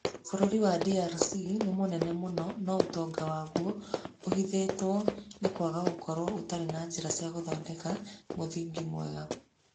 Bũrũri wa DRC nĩ mũnene mũno, no ũtonga waguo ũhithĩtwo nĩ kwaga ũkoragũo ũtarĩ na njĩra cia gũthondeka mũthingi mwega.